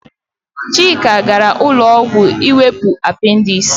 Chika gaara ụlọọgwụ iwepụ apendis.